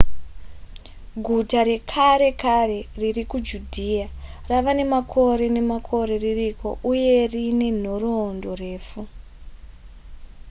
guta rekare kare riri kujudhiya rava nemakore nemakore ririko uye rine nhoroorondo refu